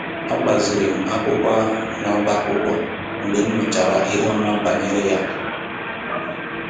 A gbaziiri m akwụkwọ ahụ n’ọ́bá akwụkwọ mgbe m nụchara ihe ọma banyere ya